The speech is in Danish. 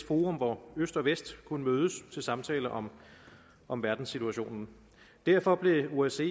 forum hvor øst og vest kunne mødes til samtaler om om verdenssituationen derfor blev osce